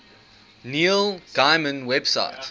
neil gaiman website